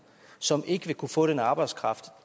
som ikke vil kunne få den arbejdskraft